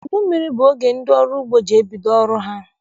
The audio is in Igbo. Udu mmiri bụ oge ndị ọrụ ugbo ji ebido ọrụ ha.